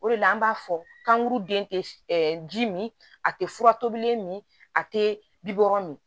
O de la an b'a fɔ kankuruden tɛ ji min a tɛ fura tobilen min a tɛ bi wɔɔrɔ min